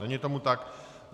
Není tomu tak.